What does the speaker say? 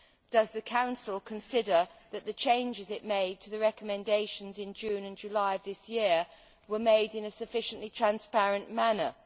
Does the Council consider that the changes it made to the recommendations in June and July of this year were made in a sufficiently transparent manner?